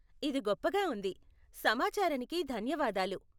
ఇది గొప్పగా వుంది. సమాచారానికి ధన్యవాదాలు.